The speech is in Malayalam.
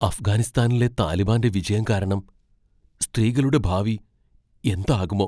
അഫ്ഗാനിസ്ഥാനിലെ താലിബാന്റെ വിജയം കാരണം സ്ത്രീകളുടെ ഭാവി എന്താകുമോ!